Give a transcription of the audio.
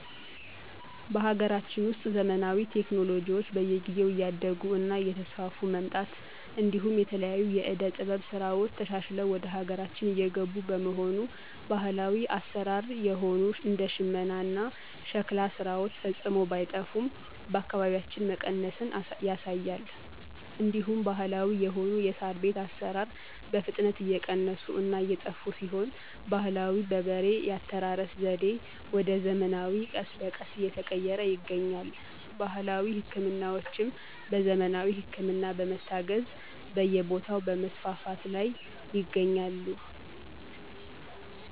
በሀገራችን ውስጥ ዘመናዊ ቴክኖሎጅዎች በየጊዜው እያደረጉ እና እየተስፋፉ መምጣት እንዲሁም የተለያዩ የዕደ ጥበብ ሥራዎች ተሻሽለው ወደሀገራችን እየገቡ በመሆኑ ባህላዊ አሰራር የሆኑ እንደ ሽመና እና ሸክላ ስራዎች ፈፅሞ ባይጠፋም በየአካቢያችን መቀነስን ያሳያል። እንዲሁም ባህለዊ የሆኑ የሳር ቤት አሰራር በፍጥነት እየቀነሱ እና እየጠፋ ሲሆን ባህላዊ በበሬ የአስተራረስ ዘዴ ወደ ዘመናዊ ቀስ በቀስ እየተቀየረ ይገኛል። ባህላዊ ህክምናዎችም በዘመናዊ ህክምና በመታገዝ በየቦታዉ በመስፋፋት ላይ ይገኛሉ።